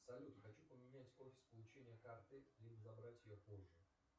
салют хочу поменять офис получения карты и забрать ее позже